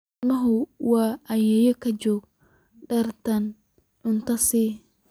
Ilmuhu wuu ooyayaa gaajo darteed, cunto sii.